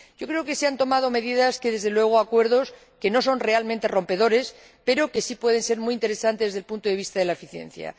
Yo creo que se han tomado medidas y llegado a acuerdos que, desde luego, no son realmente rompedores, pero que sí pueden ser muy interesantes desde el punto de vista de la eficiencia.